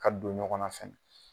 Ka don ɲɔgɔn na fɛn